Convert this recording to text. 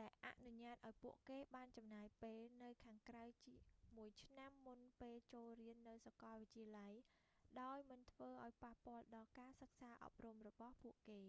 ដែលអនុញ្ញាតឱ្យពួកគេបានចំណាយពេលនៅខាងក្រៅមួយឆ្នាំមុនពេលចូលរៀននៅសាកលវិទ្យាល័យដោយមិនធ្វើឱ្យប៉ះពាល់ដល់ការសិក្សាអប់រំរបស់ពួកគេ